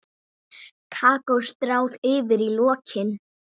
Kakó stráð yfir í lokin.